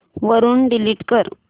वरून डिलीट कर